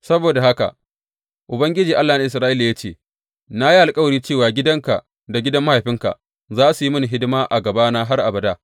Saboda haka Ubangiji Allah na Isra’ila ya ce, Na yi alkawari cewa gidanka da gidan mahaifinka za su yi mini hidima a gabana har abada.’